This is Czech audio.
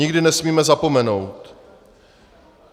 Nikdy nesmíme zapomenout.